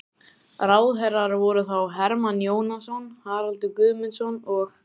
Ráðherrar voru þá: Hermann Jónasson, Haraldur Guðmundsson og